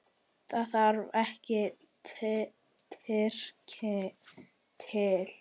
Það þarf ekki Tyrki til.